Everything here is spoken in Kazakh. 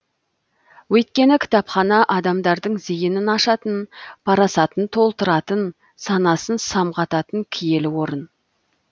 өйткені кітапхана адамдардың зейінін ашатын парасатын толтыратын санасын самғататын киелі орын